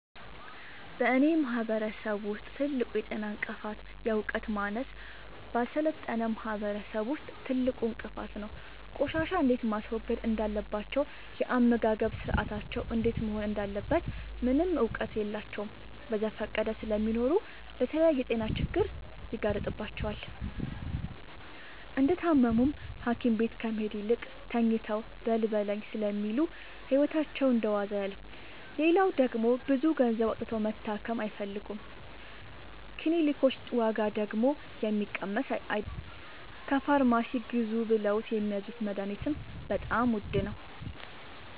በእኔ ማህበረሰብ ውስጥ ትልቁ የጤና እንቅፍት የዕውቀት ማነስ በአልሰለጠነ ማህበረሰብ ውስጥ ትልቁ እንቅፋት ነው። ቆሻሻ እንዴት ማስወገድ እንዳለባቸው የአመጋገብ ስርአታቸው እንዴት መሆን እንዳለበት ምንም እውቀት የላቸውም በዘፈቀደ ስለሚኖሩ ለተለያየ የጤና ችግር ይጋረጥባቸዋል። እንደታመሙም ሀኪቤት ከመሄድ ይልቅ ተኝተው በልበለኝ ስለሚሉ ህይወታቸው እንደዋዛ ያልፋል። ሌላው ደግሞ ብዙ ገንዘብ አውጥተው መታከም አይፈልጉም ክኒልኮች ዋጋደግሞ የሚቀመስ አይለም። ከፋርማሲ ግዙ ብለውት የሚያዙት መደሀኒትም በጣም ውድ ነው።